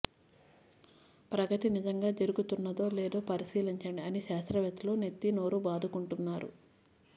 ప్రగతి నిజంగా జరుగుతన్నదో లేదో పరిశీలించండి అని శాస్త్రవేత్తలు నెత్తి నోరూ బాదుకుంటున్నారు